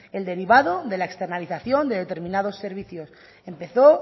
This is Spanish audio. el derivado de la externalización de determinados servicios empezó